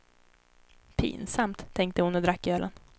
Pinsamt, tänkte hon och drack ölen.